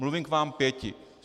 Mluvím k vám pěti.